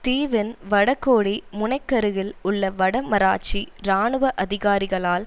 தீவின் வடகோடி முனைக்கருகில் உள்ள வடமராட்சி இராணுவ அதிகாரிகளால்